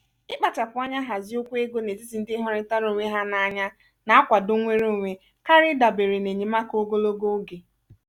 ị́kpachapụ anya hazie okwu ego n'etiti ndị hụrịtara onwe ha n'anya na-akwado nnwere onwe karịa ịdabere n'enyemaka ogologo oge.